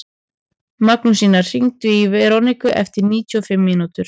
Magnúsína, hringdu í Veroniku eftir níutíu og fimm mínútur.